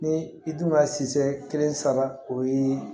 Ni i dun ka siyɛ kelen saba o ye